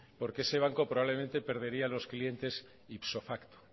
porque ese banco probablemente perdería los clientes ipso facto